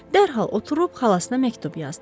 Dərhal oturub xalasına məktub yazdı.